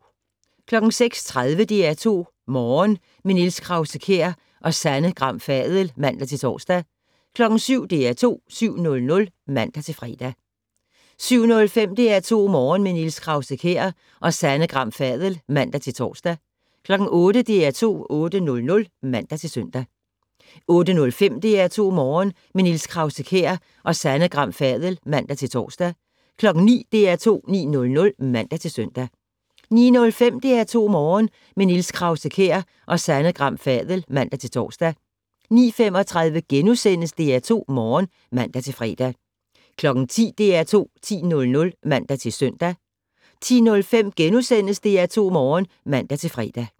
06:30: DR2 Morgen - med Niels Krause-Kjær og Sanne Gram Fadel (man-tor) 07:00: DR2 7:00 (man-fre) 07:05: DR2 Morgen - med Niels Krause-Kjær og Sanne Gram Fadel (man-tor) 08:00: DR2 8:00 (man-søn) 08:05: DR2 Morgen - med Niels Krause-Kjær og Sanne Gram Fadel (man-tor) 09:00: DR2 9:00 (man-søn) 09:05: DR2 Morgen - med Niels Krause-Kjær og Sanne Gram Fadel (man-tor) 09:35: DR2 Morgen *(man-fre) 10:00: DR2 10:00 (man-søn) 10:05: DR2 Morgen *(man-fre)